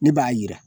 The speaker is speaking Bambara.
Ne b'a jira